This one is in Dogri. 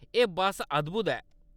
एह्‌‌ बस्स अद्‌भुत ऐ।